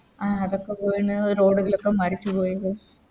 ആ അതൊക്കെ വീണ് Road കളൊക്കെ മറിച്ച് പോയി